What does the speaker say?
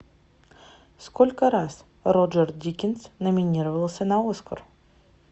сколько раз роджер дикинс номинировался на оскар